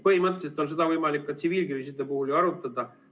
Põhimõtteliselt on seda võimalik ka tsiviilkriiside puhul ju arutada.